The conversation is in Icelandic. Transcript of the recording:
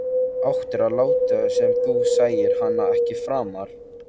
Þú áttir að láta sem þú sæir hana ekki framar.